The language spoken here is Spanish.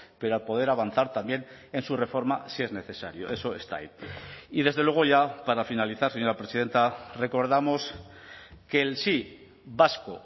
pero a poder avanzar también en su reforma si es necesario eso está ahí y desde luego ya para finalizar señora presidenta recordamos que el sí vasco